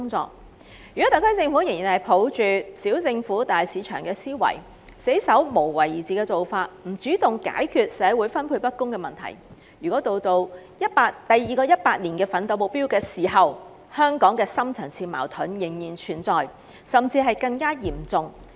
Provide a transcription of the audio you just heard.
假如特區政府仍然抱着"小政府、大市場"的原則，堅守一貫"無為而治"的做法，不主動解決社會資源分配不均問題，則到了第二個百年奮鬥目標實現的時候，香港的深層次矛盾仍會存在，甚至變得更嚴重。